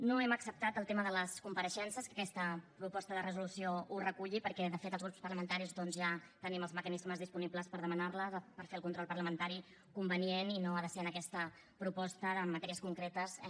no hem acceptat el tema de les compareixences que aquesta proposta de resolució ho reculli perquè de fet els grups parlamentaris doncs ja tenim els mecanismes disponibles per demanar les per fer el control parlamentari convenient i no ha de ser en aquesta proposta de matèries concretes eh